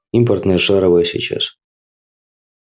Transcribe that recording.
импортные шаровые сейчас